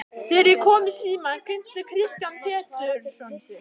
Þegar ég kom í símann kynnti Kristján Pétursson sig.